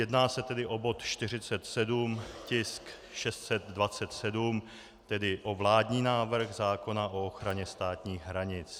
Jedná se tedy o bod 47, tisk 627, tedy o vládní návrh zákona o ochraně státních hranic.